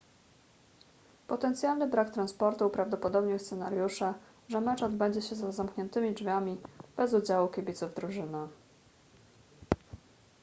potencjalny brak transportu uprawdopodobnił scenariusze że mecz odbędzie się za zamkniętymi drzwiami bez udziału kibiców drużyny